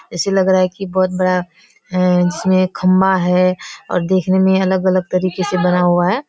ऐसे लग रहा है कि बहुत बड़ा है जिसमें खम्बा है और देखने में अलग-अलग तरीके से बना हुआ है ।